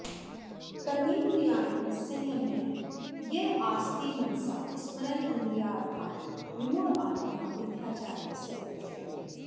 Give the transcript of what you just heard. कर्मेन्द्रियाणि संयम्य य आस्ते मनसा स्मरन् इन्द्रियार्थान् विमूढात्मा मिथ्याचारः स उच्यते